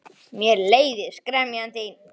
Mér leiðist gremja þín.